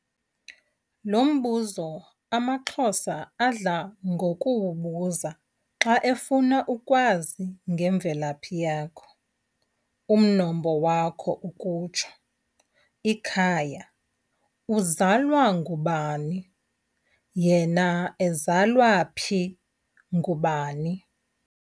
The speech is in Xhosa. lombuzo amaXhosa adla ngokuwubuza xa efuna ukwazi ngemvelaphi yakho, umnombo wakho ukutsho, ikhaya , uzalwa ngubani?, yena ezalwa phi ngubani?